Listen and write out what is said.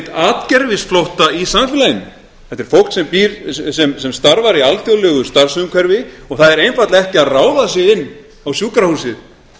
atgervisflótta í samfélaginu þetta er fólk sem starfar í alþjóðlegu starfsumhverfi og það er einfaldlega ekki að ráða sig inn á sjúkrahúsið